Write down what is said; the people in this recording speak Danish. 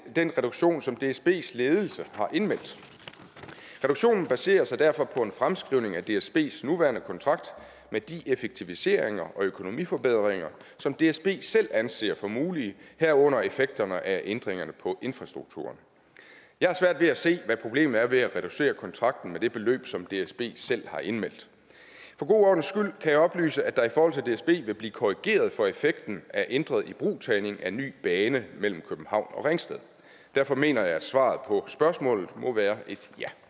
den reduktion som dsbs ledelse har indmeldt reduktionen baserer sig derfor på en fremskrivning af dsbs nuværende kontrakt med de effektiviseringer og økonomiforbedringer som dsb selv anser for mulige herunder effekterne af ændringerne på infrastrukturen jeg har svært ved at se hvad problemet er ved at reducere kontrakten med det beløb som dsb selv har indmeldt for god ordens skyld kan jeg oplyse at der i forhold til dsb vil blive korrigeret for effekten af ændret ibrugtagning af ny bane mellem københavn og ringsted derfor mener jeg at svaret på spørgsmålet må være et